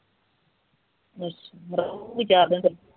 ਰਹੂੰਗੀ ਚਾਰ ਕੁ ਦਿਨ